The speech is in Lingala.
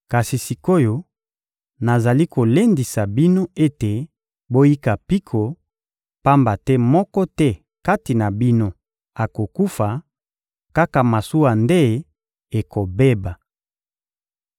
Kasi sik’oyo, nazali kolendisa bino ete boyika mpiko, pamba te moko te kati na bino akokufa, kaka masuwa nde ekobeba.